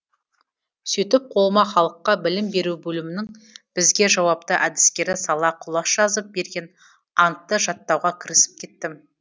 сөйтіп қолыма халыққа білім беру бөлімінің бізге жауапты әдіскері сала құлаш жазып берген антты жаттауға кірісіп кеттім